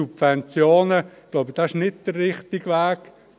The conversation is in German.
Ich glaube, das ist nicht der richtige Weg.